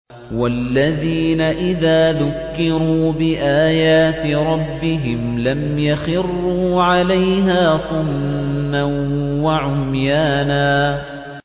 وَالَّذِينَ إِذَا ذُكِّرُوا بِآيَاتِ رَبِّهِمْ لَمْ يَخِرُّوا عَلَيْهَا صُمًّا وَعُمْيَانًا